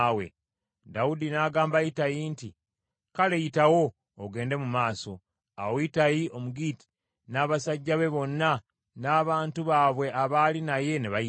Dawudi n’agamba Ittayi nti, “Kale yitawo ogende mu maaso.” Awo Ittayi Omugitti n’abasajja be bonna n’abantu baabwe abaali naye ne bayitawo.